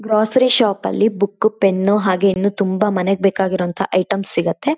Grocery shop ಅಲ್ಲಿ book pen ಹಾಗೆ ಇನ್ನು ತುಂಬಾ ಮನೆಗೆ ಬೇಕಾಗಿರುವತಹ ಐಟಮ್ಸ್ ಸಿಗುತ್ತೆ.